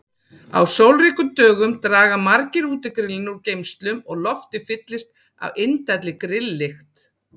Á sólríkum dögum draga margir útigrillin úr geymslum og loftið fyllist af indælli grilllykt.